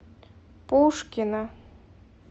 пушкино